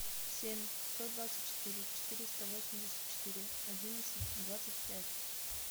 семь сто двадцать четыре четыреста восемьдесят четыре одиннадцать двадцать пять